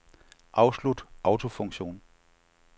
Afslut autofunktion.